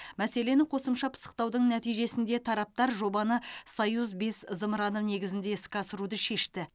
мәселені қосымша пысықтаудың нәтижесінде тараптар жобаны союз бес зымыраны негізінде іске асыруды шешті